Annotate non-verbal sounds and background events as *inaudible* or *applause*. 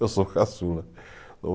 Eu sou caçula. *unintelligible*